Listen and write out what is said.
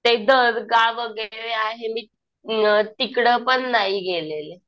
ते दर्गा वगैरे आहे मी तिकडं पण नाही गेलेले.